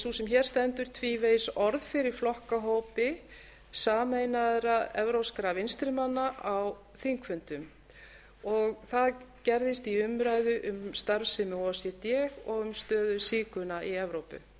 sú sem hér stendur tvívegis orð fyrir flokkahópi sameinaðra evrópskra vinstrimanna á þingfundum það gerðist í umræðu um starfsemi o e c d og um stöðu sígauna í evrópu